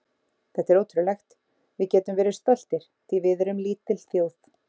Þetta er ótrúlegt, við getum verið stoltir því við erum lítil þjóð.